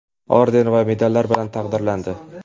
orden va medallari bilan taqdirlandi.